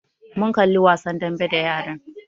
Mun kalli wasan dambe da yaran